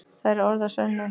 Það eru orð að sönnu!